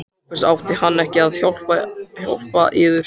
SOPHUS: Átti hann ekki að hjálpa yður?